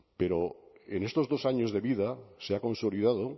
pero en estos dos años de vida se ha consolidado